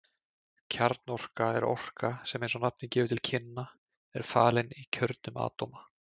Kjarnorka er orka sem eins og nafnið gefur til kynna er falin í kjörnum atóma.